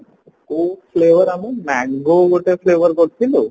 ସେଇ ଆମେ mango ଗୋଟେ flavor କରିଥିଲୁ